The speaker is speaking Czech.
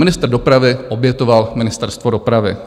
Ministr dopravy obětoval Ministerstvo dopravy.